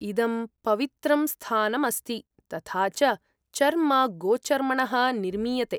इदं पवित्रं स्थानम् अस्ति तथा च चर्म गोचर्मणः निर्मीयते।